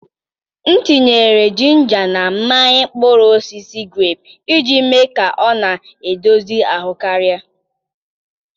M tinyere jinja na mmanya mkpụrụ osisi grepu iji mee ka ọ na-edozi ahụ karịa.